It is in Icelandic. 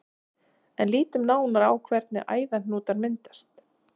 En lítum nánar á hvernig æðahnútar myndast.